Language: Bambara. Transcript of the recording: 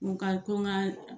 Mun ka to n ka